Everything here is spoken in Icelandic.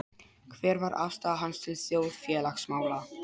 Hver var afstaða hans til þjóðfélagsmála?